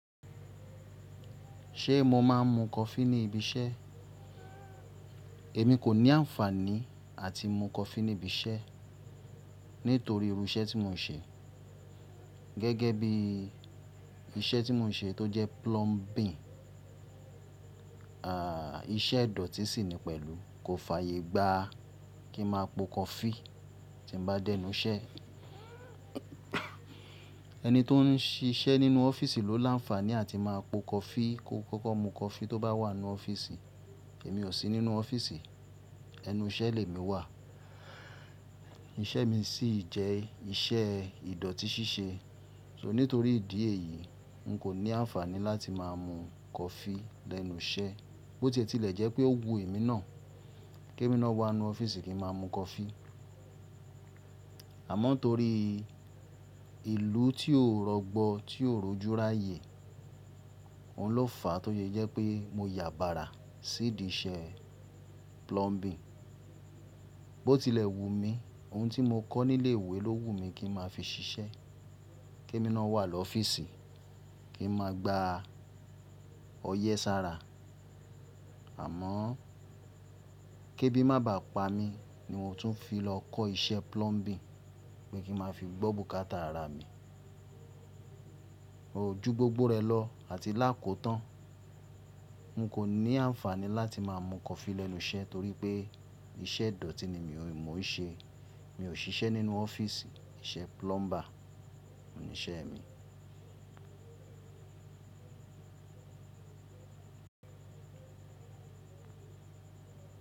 Ṣe mo máa ń mu kọfí ní ibi iṣẹ́? Èmi kò ní àǹfàní à ti mu kọfí níbi iṣẹ́ nítorí iru iṣẹ́ tí mo ń ṣe. Gẹ́gẹ́ bí iṣẹ́ tí mo ń ṣe tó jẹ́ plumbing, ìṣèdọ̀tí sì ní pẹ̀lú. Kò fàyè gba kí n máa po kọfí tí mo bá dẹ́nù iṣẹ́. Ẹni tó ń ṣiṣẹ́ nínú ọ́fíìsì ló lánfàní à ti máa po kọfí, kó kókó mu kọfí tó bá wà ní ọ́fíìsì. Èmi ò sí nínú ọ́fíìsì, ẹnu iṣẹ́ lè mi wà. Iṣẹ́ mi sì jẹ́ iṣẹ́ ìdọ̀tí ṣíṣe. So nítorí ìdí èyí, n kò ní àǹfàní láti máa mu kọfí lẹ́nu iṣẹ́. Bó tí ẹ tílẹ̀ jẹ́ pé ó wu mí náà, kí mí ná wá ní ọ́fíìsì kí n máa mu kọfí. Àmọ́ nítorí ìlú tí ò rọgbọ, tí ò rojú ráàyè, òun lo fàá tó ṣe jẹ́ pé mo yàbárà sí iṣẹ́ plumbing. Bó ti ilẹ̀ wù mí, ohun tí mo kọ́ nílé ìwé ló wù mí kí n máa fi ṣiṣẹ́, kí mí ná wà lọ́ ọ́fíìsì, kí n máa gba ọyẹ́ sára. Àmọ́, kí ébí má bà pá mi ni mò ń tún fi lọ kọ́ iṣẹ́ plumbing, pé kí n máa fi gbọ́ bùkátà ara mi. Òó jú gbogbo rẹ lọ àti là kò tan. N kò ní àǹfàní láti máa mu kọfí lẹ́nu iṣẹ́, torí pé iṣẹ́ ìdọ̀tí ni mò ń ṣe. Mi ò ṣiṣẹ́ nínú ọ́fíìsì, iṣẹ́ plumber ni iṣẹ́ mi.